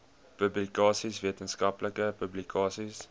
publikasies wetenskaplike publikasies